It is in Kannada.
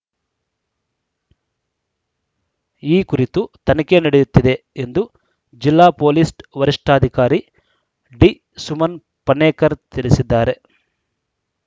ಈ ಕುರಿತು ತನಿಖೆ ನಡೆಯುತ್ತಿದೆ ಎಂದು ಜಿಲ್ಲಾ ಪೊಲೀಸ್‌ ವರಿಷ್ಠಾಧಿಕಾರಿ ಡಿಸುಮನ್‌ ಪನ್ನೇಕರ್‌ ತಿಳಿಸಿದ್ದಾರೆ